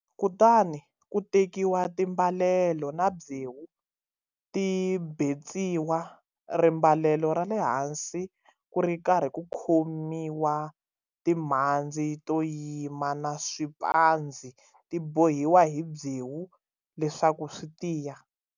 Kutani ku tekiwa timbalelo na byewu ti betsiwa rimbalelo ra le hansi ku ri karhi ku khomiwa timhandzi to yima na swiphandzi ti bohiwa hi byewu leswaku swi tiya.